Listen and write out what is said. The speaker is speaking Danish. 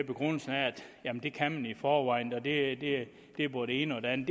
begrundelse at det kan man i forvejen og det er både det ene og det andet